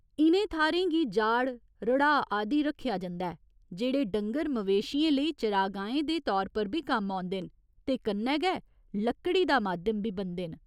इ'नें थाह्‌रें गी जाड़, रड़ाह् आदि आखेआ जंदा ऐ, जेह्ड़े डंगर मवेशियें लेई चरागाहें दे तौर पर बी कम्म औंदे न ते कन्नै गै लक्कड़ी दा माध्यम बी बनदे न।